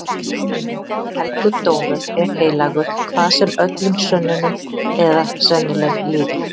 Helgur dómur er heilagur hvað sem öllum sönnunum eða sennileik líður.